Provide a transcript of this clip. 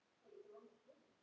Þetta er okkar hópur.